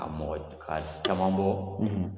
Ka mɔgɔ ka caman bɔ